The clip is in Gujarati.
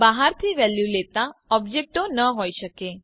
બહારથી વેલ્યુ લેતા ઓબ્જેક્ટો ન હોય શકે